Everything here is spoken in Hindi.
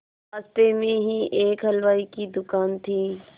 रास्ते में ही एक हलवाई की दुकान थी